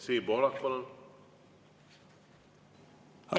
Siim Pohlak, palun!